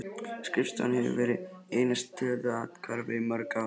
Skrifstofan hefur verið eina stöðuga athvarfið í mörg ár.